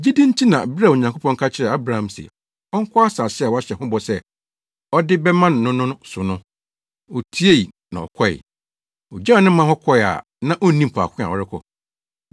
Gyidi nti na bere a Onyankopɔn ka kyerɛɛ Abraham se ɔnkɔ asase a wahyɛ ho bɔ sɛ ɔde bɛma no no so no, otiei na ɔkɔe. Ogyaw ne man hɔ kɔe a na onnim faako a ɔrekɔ.